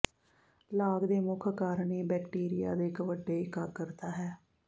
ਲਾਗ ਦੇ ਮੁੱਖ ਕਾਰਨ ਇਹ ਬੈਕਟੀਰੀਆ ਦੇ ਇੱਕ ਵੱਡੇ ਇਕਾਗਰਤਾ ਹੈ